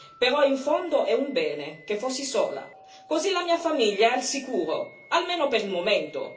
Però in fondo è un bene che fossi sola, così la mia famiglia è al sicuro, almeno per il momento.